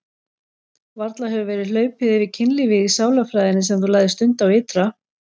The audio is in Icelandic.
Varla hefur verið hlaupið yfir kynlífið í sálarfræðinni sem þú lagðir stund á ytra?